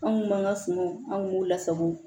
Anw b'an ka sumanw an kun b'u lasago